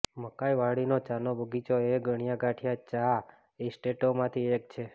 મકાઈવાડીનો ચાનો બગીચો એ ગણ્યા ગાંઠ્યા ચા એસ્ટેટોમાંથી એક છે